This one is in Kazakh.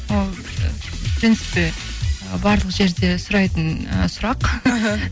ол в принципе ы барлық жерде сұрайтын ы сұрақ іхі